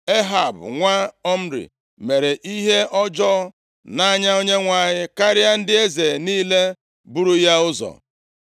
Ehab nwa Omri mere ihe ọjọọ nʼanya Onyenwe anyị karịa ndị eze niile buru ya ụzọ.